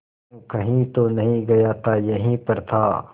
कहीं तो नहीं गया था यहीं पर था